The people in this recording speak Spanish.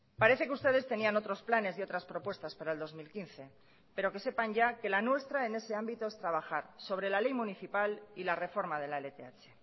parece que ustedes tenían otros planes y otras propuestas para el dos mil quince pero que sepan ya que la nuestra en ese ámbito es trabajar sobre la ley municipal y la reforma de la lth